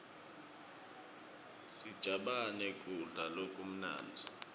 sijabane kudla lokumnandzi